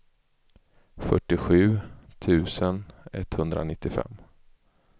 fyrtiosju tusen etthundranittiofem